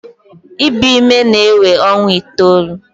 Ibu ime na-ewe ọnwa itoolu.